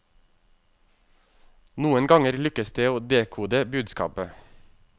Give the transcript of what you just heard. Noen ganger lykkes det å dekode budskapet.